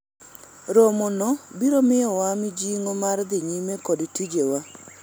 romo no biro miyowa mijingo mar dhi nyime kod tije wa